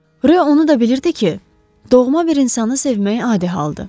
Ro onu da bilirdi ki, doğma bir insanı sevmək adi haldır.